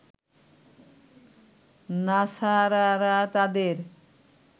নাছারারা তাদের